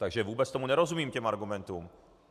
Takže vůbec tomu nerozumím, těm argumentům.